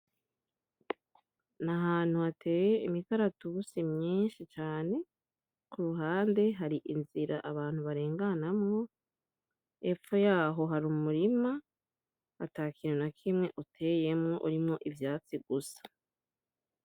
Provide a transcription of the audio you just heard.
Nahantu hateye imikaratusi myinshi cane, kuruhande hari inzira abantu barenganamwo, epfo yaho har'umurima atakintu nakimwe uteyemwo, urimwo ivyatsi gusa.